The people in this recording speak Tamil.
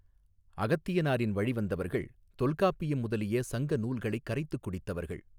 அகத்தியனாரின் வழி வந்தவர்கள் தொல்காப்பியம் முதலிய சங்க நூல்களைக் கரைத்துக் குடித்தவர்கள்.